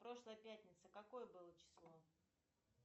прошлая пятница какое было число